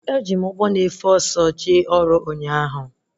Eji m ụgbọ na-efe ọsọ jee ọrụ ụnyaahụ